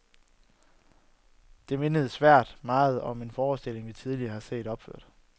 Det mindede svært meget om en forestilling, vi tidligere har set opført.